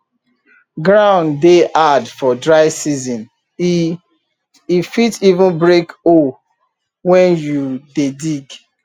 ground dey hard for dry season e e fit even break hoe when you dey dig